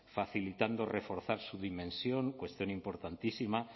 facilitando reforzar su dimensión cuestión importantísima